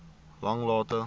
langlaagte